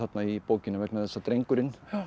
í bókinni vegna þess að drengurinn